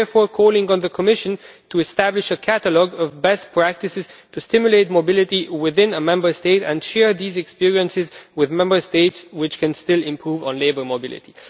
I therefore call on the Commission to establish a catalogue of best practices to stimulate mobility within a Member State and to share these experiences with Member States which still have work to do on labour mobility.